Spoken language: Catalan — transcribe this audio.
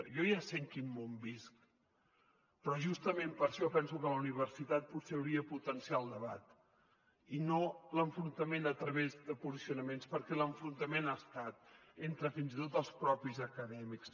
jo ja sé en quin món visc però justament per això penso que la universitat potser hauria de potenciar el debat i no l’enfrontament a través de posicionaments perquè l’enfrontament hi ha estat entre fins i tot els propis acadèmics